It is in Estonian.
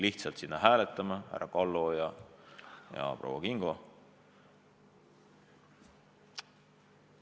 Sinna toodi hääletama härra Kallo ja proua Kingo.